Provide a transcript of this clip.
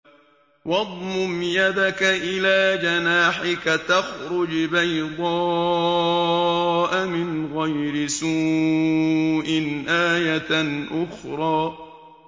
وَاضْمُمْ يَدَكَ إِلَىٰ جَنَاحِكَ تَخْرُجْ بَيْضَاءَ مِنْ غَيْرِ سُوءٍ آيَةً أُخْرَىٰ